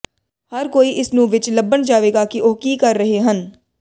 ਹਰ ਕੋਈ ਇਸ ਨੂੰ ਵਿੱਚ ਲੱਭਣ ਜਾਵੇਗਾ ਕਿ ਉਹ ਕੀ ਕਰ ਰਹੇ ਹਨ